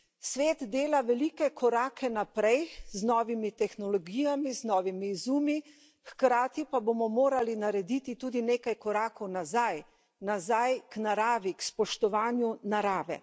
Svet dela velike korake naprej z novimi tehnologijami, z novimi izumi, hkrati pa bomo morali narediti tudi nekaj korakov nazaj nazaj k naravi, k spoštovanju narave.